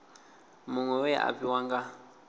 muṅwe we a fhiwa nga